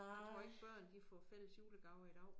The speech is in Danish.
Jeg tror ikke børn de får fælles julegaver i dag